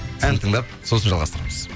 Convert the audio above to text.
ән тыңдап сосын жалғастырамыз